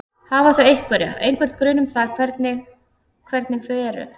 Hafa þau einhverja, einhvern grun um það hvernig hvernig þau eru?